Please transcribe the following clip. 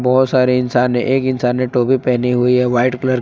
बहुत सारे इंसान है एक इंसान ने टोपी पहनी हुई है वाइट कलर की।